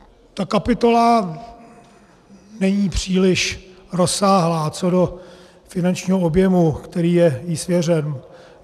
Ta kapitola není příliš rozsáhlá co do finančního objemu, který je jí svěřen.